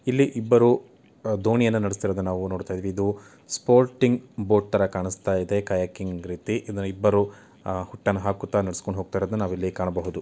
ಇಲ್ಲಿ ಇಬ್ಬರು ದೋಣಿಯನ್ನು ನಡೆಸ್ತಾ ಇರೋದನ್ನ ನಾವು ನೋಡತ್ತಾಯಿದೀವಿ ಸ್ಪೋರ್ಟಿಂಗ್ ಬೋಟ್ ತರ ಕಾಣಸ್ತಿದೆ ಕಾಯಾಕಿಂಗ್ ರೀತಿ ಇದನ್ನ ಇಬ್ಬರು ಅಹ್ ಹುಟ್ಟುಅನ್ನ ಹಾಕುತ್ತ ನಡೆಸಿಕೊಂಡು ಹೋಗತ್ತಾ ಇರೋದನ್ನ ನಾವ ಇಲ್ಲಿ ಕಾಣಬಹುದು.